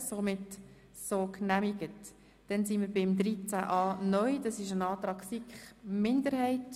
Da gibt es einen Antrag der SiK-Minderheit.